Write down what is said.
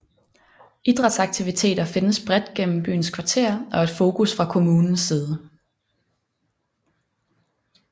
Idrætsaktiviteter findes bredt gennem byens kvarterer og er et fokus fra kommunens side